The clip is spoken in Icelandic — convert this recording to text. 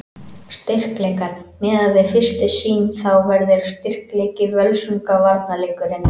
Styrkleikar: Miðað við fyrstu sýn þá verður styrkleiki Völsunga varnarleikurinn.